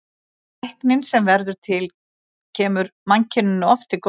Tæknin sem verður til kemur mannkyninu oft til góða.